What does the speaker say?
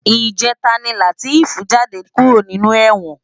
Ijètá ni Lateef jàdé kúró ninú èwòn